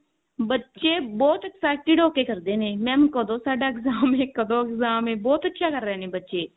ਬੱਚੇ ਬਹੁਤ excited ਹੋ ਕਿ ਕਰਦੇ ਨੇ mam ਕਦੋ ਸਾਡਾ exam ਹੈ ਕਦੋਂ exam ਹੈ ਬਹੁਤ ਅੱਛਾ ਕਰ ਰਹੇ ਨੇ ਬੱਚੇ